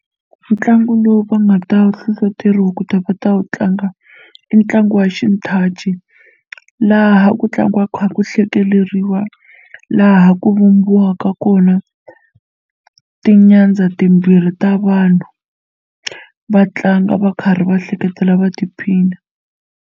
Ntlangu lowu va nga ta hlohloteriwa ku ta va ta wu tlanga i ntlangu wa xinthaci laha ku tlangiwaka kha ku hlekeleriwa laha ku vumbiwaka kona tinyandza timbirhi ta vanhu va tlanga va karhi va hleketela va tiphina.